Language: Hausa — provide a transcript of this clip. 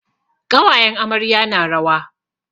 Ƙawayen amarya na rawa.